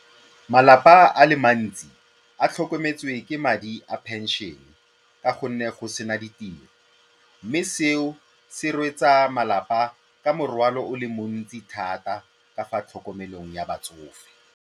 Malapa a le mantsi a tlhokometswe ke madi a pension ka gonne go sena ditiro mme seo se rwesa malapa ka morwalo o le montsi thata ka fa tlhokomelong ya batsofe.